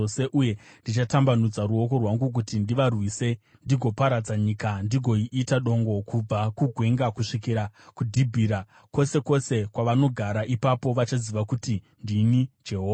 Uye ndichatambanudza ruoko rwangu kuti ndivarwise ndigoparadza nyika ndigoiita dongo kubva kugwenga kusvikira kuDhibhira, kwose kwose kwavanogara. Ipapo vachaziva kuti ndini Jehovha.’ ”